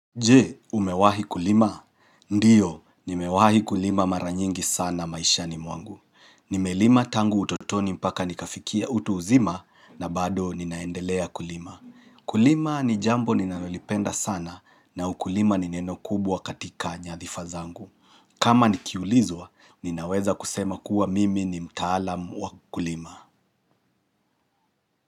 Je, umewahi kulima? Ndiyo, nimewahi kulima mara nyingi sana maishani mwangu. Nimelima tangu utotoni mpaka nikafikia utu uzima na bado ninaendelea kulima. Kulima ni jambo ninalolipenda sana na ukulima ni neno kubwa katika nyadhifa zangu. Kama nikiulizwa, ninaweza kusema kuwa mimi ni mtaalam wa kulima.